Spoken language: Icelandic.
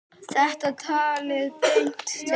Þetta talaði beint til mín.